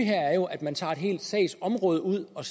her er jo at man tager et helt sagsområde ud og